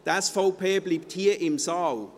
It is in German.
Die SVP bleibt hier im Saal.